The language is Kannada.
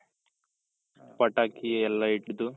ಪಟಾಕಿ ಎಲ್ಲಾ ಇಟ್ಟು